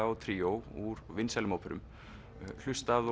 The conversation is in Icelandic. og tríó úr vinsælum óperum hlustað